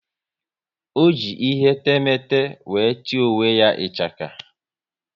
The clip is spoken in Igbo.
Ọ ji ihe temete wéré tie onwe ya ichaka